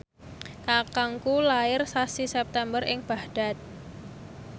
kakangku lair sasi September ing Baghdad